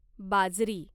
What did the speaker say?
बाजरी